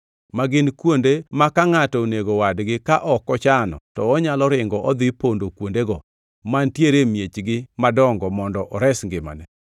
ma gin kuonde ma ka ngʼato onego wadgi ka ok ochano, to onyalo ringo dhi pondo kuondego mantie e miechgi madongo mondo ores ngimane.